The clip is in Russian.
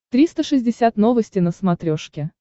триста шестьдесят новости на смотрешке